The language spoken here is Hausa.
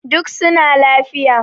duk suna lafiya